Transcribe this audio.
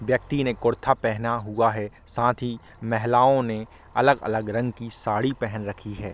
व्यक्ति ने कुरता पहना हुआ है साथ ही महिलाओ ने अलग-अलग रंग की साड़ी पहन रखी है।